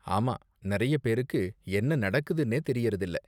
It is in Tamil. ஆமா, நிறைய பேருக்கு என்ன நடக்குதுனே தெரியறதில்ல.